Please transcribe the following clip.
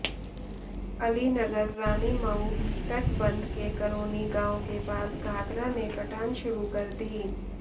अलीनगर रानीमऊ तटबंध के करोनी गांव के पास घाघरा ने कटान शुरू कर दी